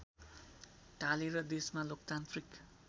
ढालेर देशमा लोकतान्त्रिक